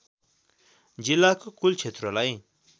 जिल्लाको कुल क्षेत्रलाई